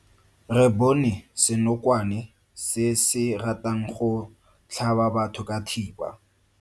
Re bone senokwane se se ratang go tlhaba batho ka thipa.